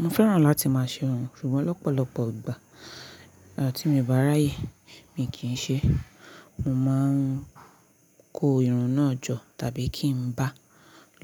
Mo fẹ́ràn láti máa ṣe irun ṣùgbọ́n lọ́pọ̀lọpọ̀ ìgbà à ti mio bá ráyè mi kì í ṣe. Mo máa ń kó irun náà jọ tàbí kí n bá